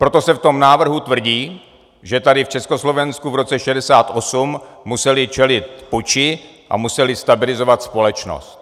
Proto se v tom návrhu tvrdí, že tady v Československu v roce 1968 museli čelit puči a museli stabilizovat společnost.